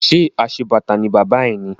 Ṣé aṣebàtà ni bàbá ẹ ni?